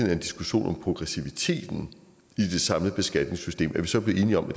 er en diskussion om progressiviteten i det samlede beskatningssystem er vi så blevet enige om at